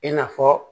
I n'a fɔ